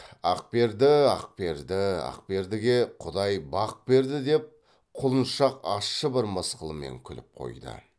ақперді ақперді ақпердіге құдай бақ берді деп құлыншақ ащы бір мысқылмен күліп қойды